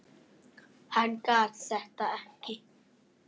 Hann gat þetta ekki.